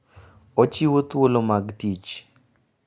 Ochiwo thuolo mag tich.